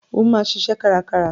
O máa ṣiṣẹ́ karákára.